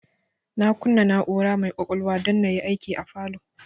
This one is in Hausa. Na kunna na'ura mai kwakwalwa don na yi aiki a falow